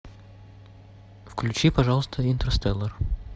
включи пожалуйста интерстеллар